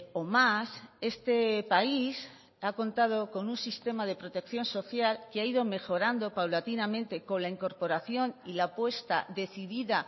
o más este país ha contado con un sistema de protección social que ha ido mejorando paulatinamente con la incorporación y la apuesta decidida